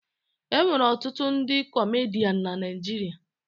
E nwere ọtụtụ ndị kọmedian na Naịjirịa